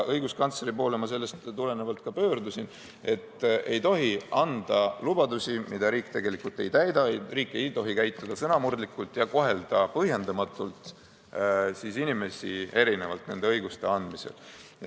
Õiguskantsleri poole ma sellest tulenevalt ka pöördusin, et ei tohi anda lubadusi, mida riik tegelikult ei täida, riik ei tohi käituda sõnamurdlikult ja kohelda inimesi põhjendamatult erinevalt õiguste andmisel.